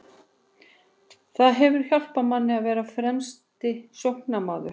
Það hefur hjálpað manni að vera fremsti sóknarmaður.